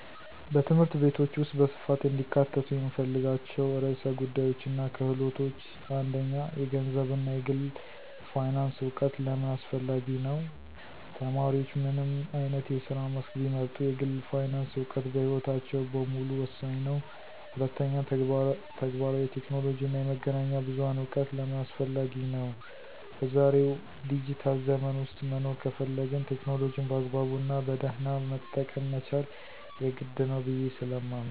በትምህርት ቤቶች ውስጥ በስፋት እንዲካተቱ የምፈልጋቸው ርዕሰ ጉዳዮችና ክህሎቶች፦ 1. የገንዘብ እና የግል ፋይናንስ እውቀት * ለምን አስፈላጊ ነው? ተማሪዎች ምንም አይነት የስራ መስክ ቢመርጡ፣ የግል ፋይናንስ እውቀት በሕይወታቸው በሙሉ ወሳኝ ነው። 2. ተግባራዊ የቴክኖሎጂ እና የመገናኛ ብዙሃን እውቀት * ለምን አስፈላጊ ነው? በዛሬው ዲጂታል ዘመን ውስጥ መኖር ከፈለግን፣ ቴክኖሎጂን በአግባቡና በደህና መጠቀም መቻል የግድ ነው ብየ ስለማምን።